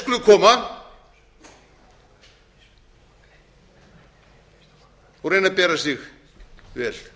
íslandi þeir skulu koma og reyna að bera sig vel